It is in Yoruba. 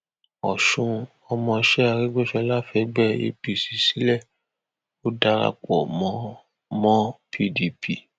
ọsun ọmọọṣẹ arégbèsọlá fẹgbẹ apc sílẹ ò darapọ mọ mọ pdp